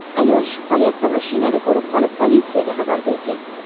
Ayol shubhali avtomashinani ko‘rib qolib, politsiyaga xabar bergan.